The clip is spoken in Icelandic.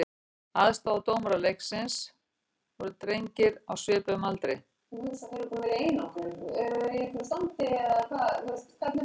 Aðstoðardómarar leiksins voru drengir á svipuðum aldri.